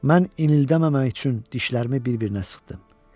Mən inildəməmək üçün dişlərimi bir-birinə sıxdım.